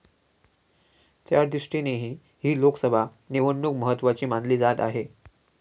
त्यादृष्टीनेही ही लोकसभा निवडणूक महत्त्वाची मानली जात आहे.